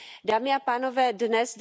Dámy a pánové, dnes,